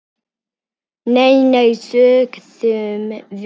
Nei, nei, sögðum við.